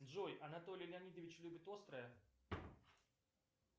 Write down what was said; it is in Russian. джой анатолий леонидович любит острое